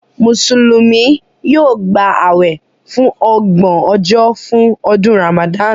Mùsùlùmí yóò gbà awẹ fun ọgbọn ojo fún ọdún Ramadan